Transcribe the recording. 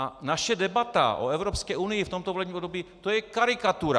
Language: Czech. A naše debata o Evropské unii v tomto volebním období, to je karikatura!